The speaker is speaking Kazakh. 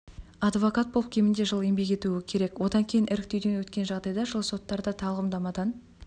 адвокат болып кемінде жыл еңбек етуі керек одан кейін іріктеуден өткен жағдайда жыл соттарда тағлымдамадан